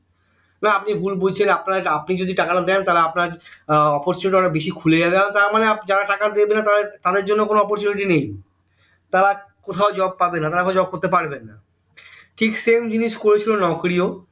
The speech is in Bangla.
না আপনি ভুল বুঝছেন আপনারা আপনি যদি টাকাটা দেন তাহলে আপনার এর opportunity অনেক বেশি খুলে যাবে তার মানে আপনি যারা টাকা দেবেনা তাদের জন্য কোনো opportunity নেই তারা কোথাও job পাবে না তারা কোথাও job করতে পারবেনা ঠিক same জিনিস করেছিল নকরি ও